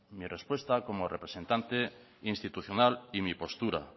mi respuesta como representante institucional y mi postura